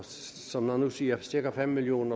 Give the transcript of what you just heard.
som man nu siger er cirka fem million